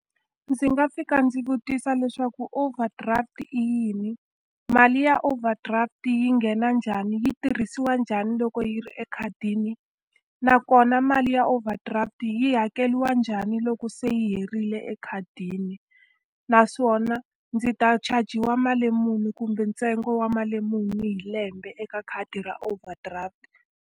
Ndzi nga fika ndzi vutisa leswaku overdraft i yini? Mali ya overdraft yi nghena njhani, yi tirhisiwa njhani loko yi ri ekhadini? Nakona mali ya overdraft yi hakeriwa njhani loko se yi herile ekhadini? Naswona ndzi ta chajiwa mali muni kumbe ntsengo wa mali muni hi lembe eka khadi ra overdraft?